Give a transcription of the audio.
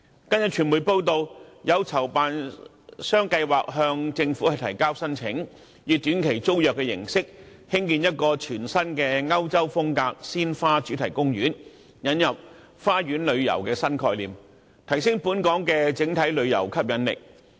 近日傳媒報道，有籌辦商計劃向政府提交申請，以短期租約形式，興建一個全新的歐洲風格鮮花主題公園，引入花園旅遊的新概念，提升本港整體的旅遊吸引力。